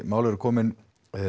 málin eru komnir